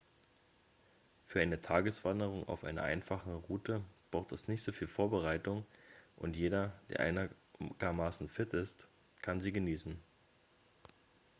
für eine tageswanderung auf einer einfachen route braucht es nicht viel vorbereitung und jeder der einigermaßen fit ist kann sie genießen